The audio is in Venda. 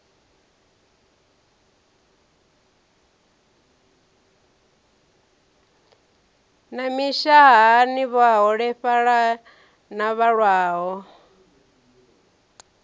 na mishahani vhaholefhali na vhalwaho